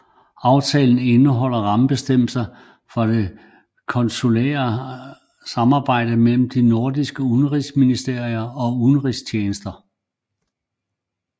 Aftalen indeholder rammebestemmelser for det konsulære samarbejdede mellem de nordiske udenrigsministerier og udenrigstjenester